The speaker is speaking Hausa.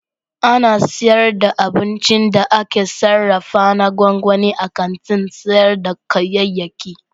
Ana sayar da abincin da aka sarrafa na gwangwani a kantin sayar da kayayyaki.